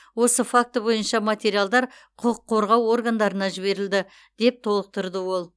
осы факті бойынша материалдар құқық қорғау органдарына жіберілді деп толықтырды ол